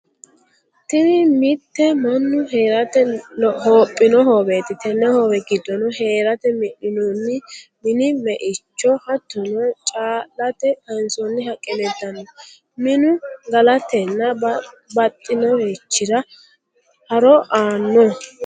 Tini mitte manu heerate hoophino hooweetti, tene hoowe gidoonni heerate mi'ninoonni mini me'icho, hatonno caa'late kaansonni haqqe leelitanno, minu galatenna babaxinorichira haro aanno